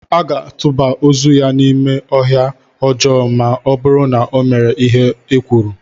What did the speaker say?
A ga-atụba ozu ya n'ime ọhịa ọjọọ ma ọ bụrụ na ọ mere ihe e kwuru.